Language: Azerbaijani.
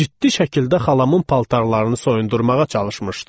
Ciddi şəkildə xalamın paltarlarını soyundurmağa çalışmışdı.